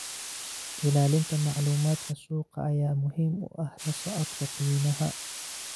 Ilaalinta macluumaadka suuqa ayaa muhiim u ah la socodka qiimaha.